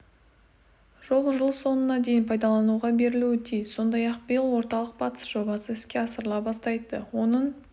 жол жыл соңына дейін пайдалануға берілуі тиіс сондай-ақ биыл орталық-батыс жобасы іске асырыла бастайды оның